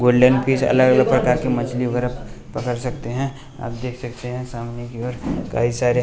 golden fish अलग अलग प्रकार के मछली वगैरा पकड़ सकते हैं आप देख सकते हैं सामने की ओर कई सारे--